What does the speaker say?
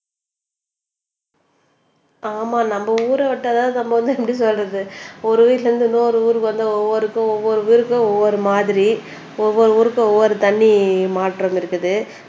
ஆமா நம்ம ஊர விட்டா தான் நம்ம வந்து எப்படி சொல்றது ஒரு வீட்ல இருந்து இன்னொரு ஊருக்கு வந்தா ஒவ்வொரு ஊருக்கும் ஒவ்வொரு மாதிரி ஒவ்வொரு ஊருக்கும் ஒவ்வொரு தண்ணி மாற்றம் இருக்குது